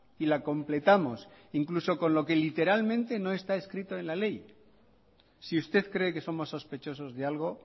y la completamos incluso con lo que literalmente no está escrito en la ley si usted cree que somos sospechosos de algo